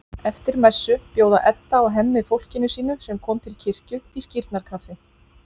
Eftir messu bjóða Edda og Hemmi fólkinu sínu, sem kom til kirkju, í skírnarkaffi.